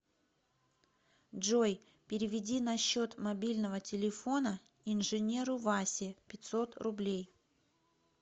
джой переведи на счет мобильного телефона инженеру васе пятьсот рублей